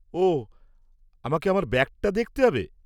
ওঃ, আমাকে আমার ব্যাগটা দেখতে হবে।